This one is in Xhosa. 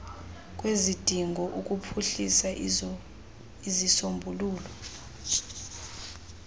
kwezidingo ukuphuhlisa izisombululo